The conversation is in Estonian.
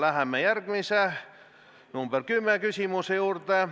Läheme järgmise, küsimuse nr 10 juurde.